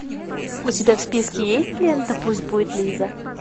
у тебя в списке есть лента пусть будет лиза